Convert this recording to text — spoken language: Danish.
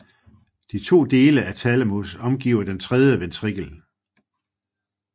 De to dele af thalamus omgiver den tredje ventrikel